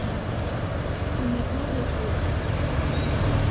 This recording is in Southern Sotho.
ne o re o a